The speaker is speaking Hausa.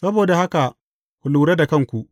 Saboda haka, ku lura da kanku.